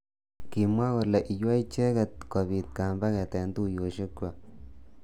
Kimwa kole iywei icheket kobit kambaket eng tuyoshek kwaak.